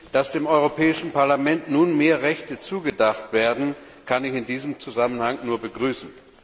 Dass dem Europäischen Parlament nun mehr Rechte zugedacht werden, kann ich in diesem Zusammenhang nur begrüßen.